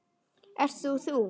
Ert þú þú?